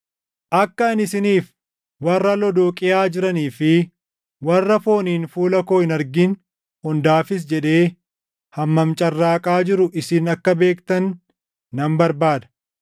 Akka ani isiniif, warra Lodooqiyaa jiranii fi warra fooniin fuula koo hin argin hundaafis jedhee hammam carraaqaa jiru isin akka beektan nan barbaada.